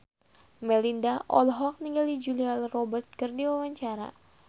Melinda olohok ningali Julia Robert keur diwawancara